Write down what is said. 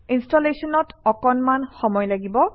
ইনষ্টলেশ্যনত অকণমান সময় লাগিব